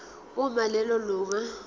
uma lelo lunga